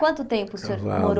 Quanto tempo o senhor Casado Morou